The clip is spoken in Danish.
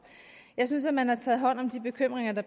jeg synes at man har taget hånd om de bekymringer der